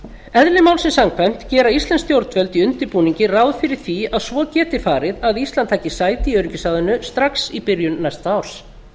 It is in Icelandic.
eðli málsins samkvæmt gera íslensk stjórnvöld í undirbúningi ráð fyrir því að svo geti farið að íslandi taki sæti í öryggisráðinu strax í byrjun næsta árs